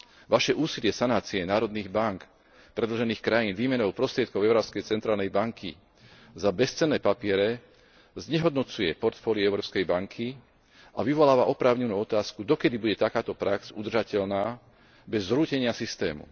Vaše úsilie sanácie národných bánk predĺžených krajín výmenou prostriedkov Európskej centrálnej banky za bezcenné papiere znehodnocuje portfólio ECB a vyvoláva oprávnenú otázku, dokedy bude takáto prax udržateľná bez zrútenia systému.